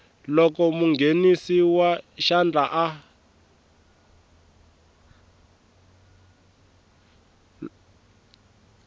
loko munghenisi wa xandla a